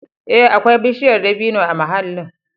Ee, akwai bishiyar dabino a mahallin.